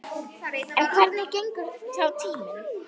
En hvernig gengur þá tíminn?